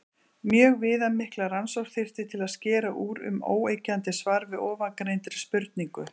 Mjög viðamikla rannsókn þyrfti til að skera úr um óyggjandi svar við ofangreindri spurningu.